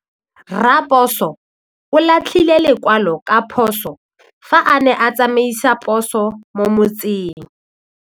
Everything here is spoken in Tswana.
Raposo o latlhie lekwalô ka phosô fa a ne a tsamaisa poso mo motseng.